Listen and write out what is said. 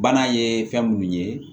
Bana ye fɛn minnu ye